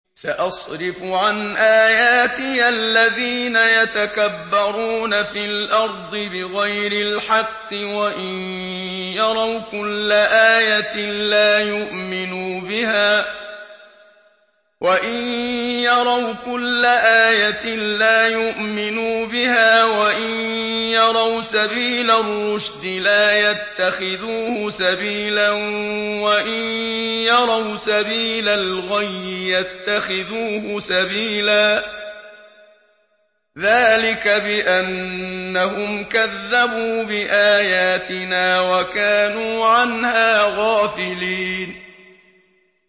سَأَصْرِفُ عَنْ آيَاتِيَ الَّذِينَ يَتَكَبَّرُونَ فِي الْأَرْضِ بِغَيْرِ الْحَقِّ وَإِن يَرَوْا كُلَّ آيَةٍ لَّا يُؤْمِنُوا بِهَا وَإِن يَرَوْا سَبِيلَ الرُّشْدِ لَا يَتَّخِذُوهُ سَبِيلًا وَإِن يَرَوْا سَبِيلَ الْغَيِّ يَتَّخِذُوهُ سَبِيلًا ۚ ذَٰلِكَ بِأَنَّهُمْ كَذَّبُوا بِآيَاتِنَا وَكَانُوا عَنْهَا غَافِلِينَ